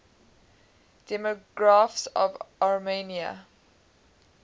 demographics of armenia